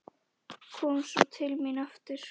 Kom svo til mín aftur.